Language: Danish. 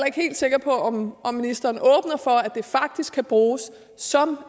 ikke helt sikker på om ministeren at det faktisk også kan bruges som